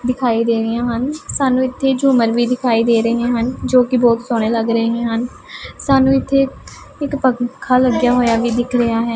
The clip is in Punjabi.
ਦਿਖਾਈ ਦੇ ਰਹੀਆ ਹਨ ਸਾਨੂੰ ਇੱਥੇ ਝੂਮਰ ਵੀ ਦਿਖਾਈ ਦੇ ਰਹੀਆ ਹਨ ਜੋ ਕਿ ਬਹੁਤ ਸੋਹਣੇ ਲੱਗ ਰਹੇ ਹਨ ਸਾਨੂੰ ਇੱਥੇ ਇੱਕ ਪੰਖਾ ਲੱਗਿਆ ਹੋਇਆ ਵੀ ਦਿੱਖ ਰਿਹਾ ਹੈ।